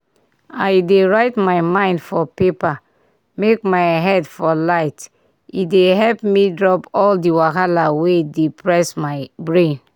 i dey write my mind for paper make my head for light e dey help me drop all the wahala wey dey press my brain.